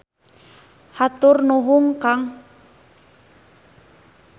Hatur nuhun kang.